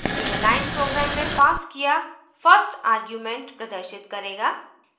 यह line program में passed किया 1st argument प्रदर्शित करेगा